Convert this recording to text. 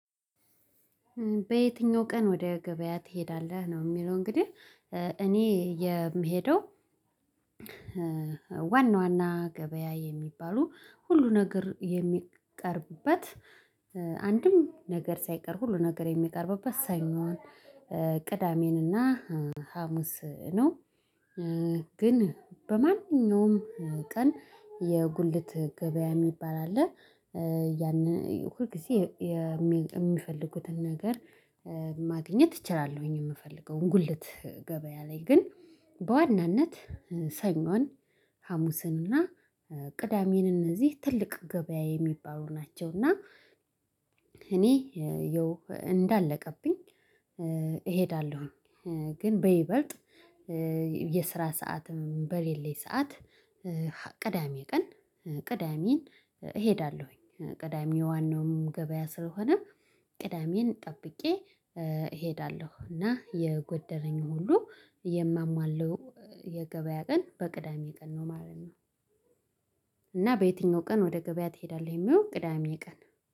በየትኛው ቀን ወደ ገበያ ትሄዳለህ ነው የሚለው? እንግዲህ እኔ የምሄደው የሚሄደው ዋና ዋና ገበያ የሚባሉ ሁሉ ነገር የሚቀርቡበት አንድም ነገር ሳይቀር ሁሉ ነገር የሚቀርብበት ሰኞን ቅዳሜንና ሀሙስ ነው። ግን በማንኛውም ቀን የጉልት ገበያ የሚባል አለ። ያን ሁልጊዜ የሚፈልጉትን ነገር ማግኘት እችላለሁኝ። የምፈልገው እንጉልት ገበያ ላይ ግን በዋናነት ሰኞን ሀሙስን እና ቅዳሜን እነዚህ ትልቅ ገበያ የሚባሉ ናቸው። እና እኔ እንዳለቀብኝ እሄዳለሁኝ። ግን በይበልጥ የስራ ሰዓትም በሌለኝ ሰዓት ቅዳሜ ቀን ቅዳሜን እሄዳለሁኝ ቅዳሜ ዋናውም ገበያ ስለሆነ ቅዳሜን ጠብቄ እሄዳለሁ እና የጎደለኝ ሁሉ የማሟለው የገበያ ቀን በቅዳሜ ቀን ነው ማለት ነው። እና በየትኛው ቀን ወደ ገበያ ትሄዳለህ የሚሆን ቅዳሜ ቀን